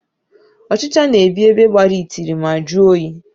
Ọchịcha na-ebi ebe gbara itiri ma jụọ oyi.